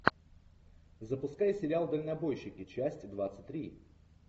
запускай сериал дальнобойщики часть двадцать три